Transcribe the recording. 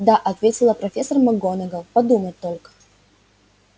да ответила профессор макгонагалл подумать только